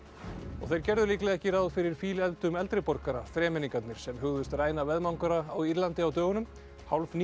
þeir gerðu líklega ekki ráð fyrir eldri borgara þremenningarnir sem hugðust ræna á Írlandi á dögunum